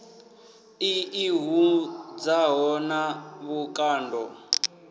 i ḓi hudzaho na vhukando